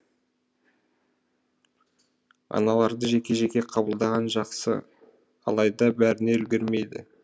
аналарды жеке жеке қабылдаған жақсы алайда бәріне үлгермейді